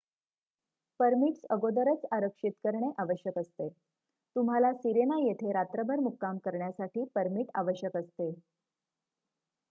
permits अगोदरच आरक्षित करणे आवश्यक असते तुम्हाला सिरेना येथे रात्रभर मुक्काम करण्यासाठी परमिट आवश्यक असते